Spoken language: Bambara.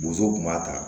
Bozow kun b'a ta